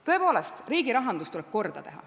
Tõepoolest, riigi rahandus tuleb korda teha.